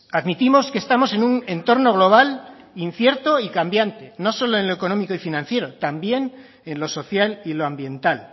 admitimos que estamos en un entorno global incierto y cambiante no solo en lo económico y financiero también en lo social y lo ambiental